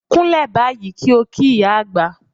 Kúnlẹ̀ báyìí kí ó kí ìyá àgbà!